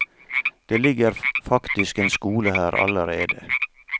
Det ligger faktisk en skole her allerede.